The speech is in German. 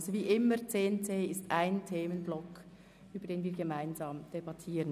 10.c ist ein einziger Themenblock, über den wir gesamthaft debattieren.